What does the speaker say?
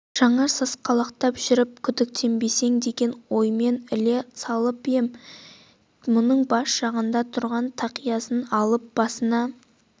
жаңа сасқалақтап жүріп күдіктенбесін деген оймен іле салып ем деп бұның бас жағындағы тұрған тақиясын алып басына